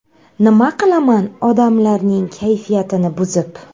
Nima qilaman odamlarning kayfiyatini buzib.